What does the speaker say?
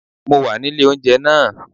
Mo wà nílé oúnjẹ náà